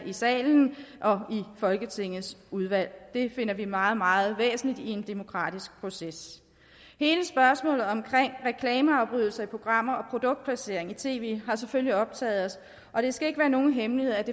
i salen og i folketingets udvalg det finder vi meget meget væsentligt i en demokratisk proces hele spørgsmålet om reklameafbrydelser i programmer og produktplacering i tv har selvfølgelig optaget os og det skal ikke være nogen hemmelighed at